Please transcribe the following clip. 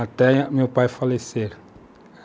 Até meu pai falecer.